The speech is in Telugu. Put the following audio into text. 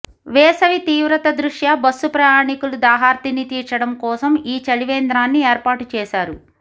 వేసవి తీవ్రత దృష్యా బస్సు ప్రయాణీకుల దాహార్తిని తీర్చడం కోసం ఈ చలి వేంద్రాన్ని ఏర్పాటు చేశారు